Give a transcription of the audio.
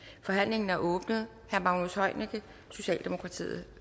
forhandlingen er åbnet herre magnus heunicke socialdemokratiet